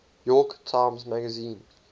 york times magazine